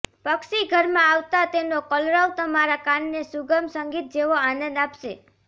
પક્ષી ઘરમાં આવતાં તેનો કલરવ તમારાં કાનને સુગમ સંગીત જેવો આનંદ આપશે